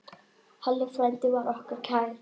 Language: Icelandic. Halli frændi var okkur kær.